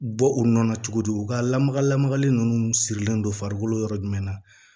Bɔ u nɔ na cogo di u ka lamaga lamagali ninnu sirilen don farikolo yɔrɔ jumɛn na